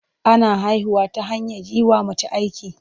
Ana haihuwa ta hanyar yi wa mace aiki.